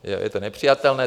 Je to nepřijatelné.